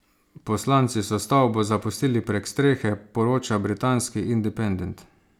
Poslanci so stavbo zapustili prek strehe, poroča britanski Independent.